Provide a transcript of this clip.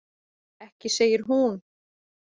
Ekki segir hún.